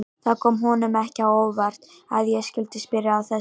Það kom honum ekki á óvart að ég skyldi spyrja að þessu.